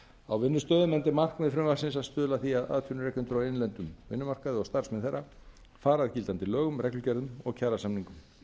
á vinnustöðum enda er markmið frumvarpsins að stuðla að því að atvinnurekendur á innlendum vinnumarkaði og starfsmenn þeirra fari að gildandi lögum reglugerðum og kjarasamningum